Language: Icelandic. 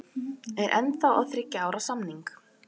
Ég er ennþá á þriggja ára samning.